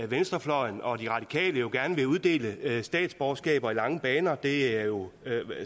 venstrefløjen og de radikale gerne vil uddele statsborgerskaber i lange baner det er jo